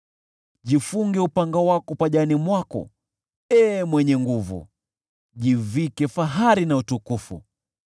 Jifunge upanga wako pajani mwako, ee mwenye nguvu, jivike fahari na utukufu.